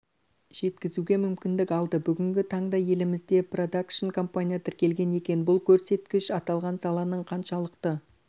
жеткізуге мүмкіндік алды бүгінгі таңда елімізде продакшн компания тіркелген екен бұл көрсеткіш аталған саланың қаншалықты